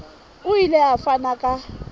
o ile a fana ka